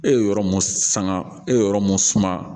E ye yɔrɔ mun san e ye yɔrɔ mun suma